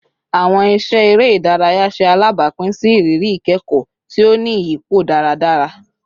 Awọn iṣẹ ere idaraya ṣe alabapin si iriri ikẹkọ ti o ni iyipo daradara